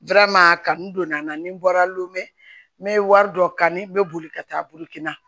kanni donna n na ni n bɔra lome n be wari dɔ kani n bɛ boli ka taa bolokina